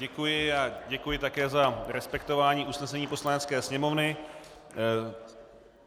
Děkuji a děkuji také za respektování usnesení Poslanecké sněmovny.